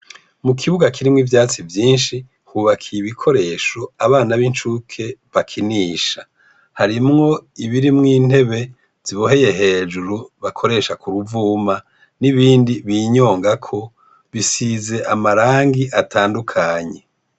Mu kibuga kirimwo ivyatsi vyinshi hubakiye ibikoresho abana n’incuke bakinisha ibirimwo intebe ziboheye hejuru bakoresha ku ruvuma nibindi binyongako bisize amarangi atandukanye.